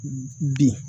Bin